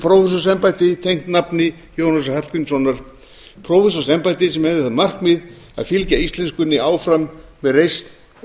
prófessorsembætti tengt nafni jónasar hallgrímssonar prófessorsembætti sem hefði það markmið að fylgja íslenskunni áfram með reisn og